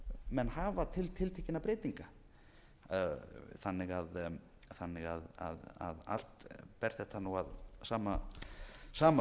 menn hafa til tiltekinna breytinga þannig að allt ber þetta nú að sama